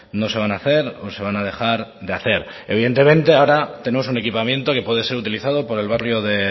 no se van a hacer o se van a dejar de hacer evidentemente ahora tenemos un equipamiento que puede ser utilizado por el barrio de